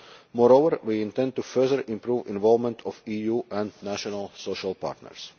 Moreover, we intend to further improve involvement of EU and national social partners.